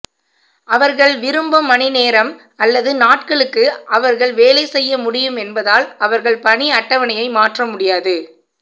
அவர்கள் விரும்பும் மணிநேரம் அல்லது நாட்களுக்கு அவர்கள் வேலை செய்ய முடியும் என்பதால் அவர்கள் பணி அட்டவணையை மாற்ற முடியாது